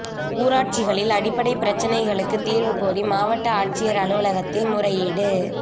ஊராட்சிகளில் அடிப்படை பிரச்னைகளுக்கு தீா்வு கோரி மாவட்ட ஆட்சியா் அலுவலகத்தில் முறையீடு